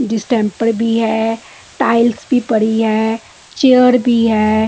distemper भी है tiles भी पड़ी है चेयर भी है --